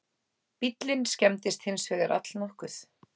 Bíllinn skemmdist hins vegar allnokkuð